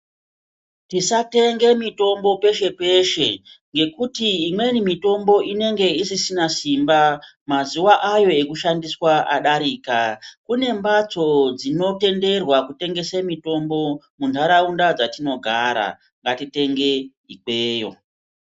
Tisa tenge mitombo peshe peshe ngekuti imweni mitombo inenge isisina simba mazuva ayo ekushandiswa adarika kune mbatso dzino tenderwa kutengese mitombo mu nharaunda dzatino gara ngati tenge ikweyo.